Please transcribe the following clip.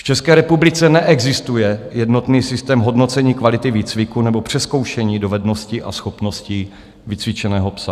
V České republice neexistuje jednotný systém hodnocení kvality výcviku nebo přezkoušení dovedností a schopností vycvičeného psa.